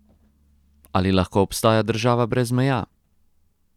Ali lahko obstaja država brez meja?